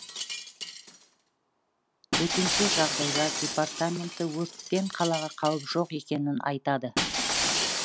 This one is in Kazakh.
төтенше жағдайлар департаменті өрттен қалаға қауіп жоқ екенін айтады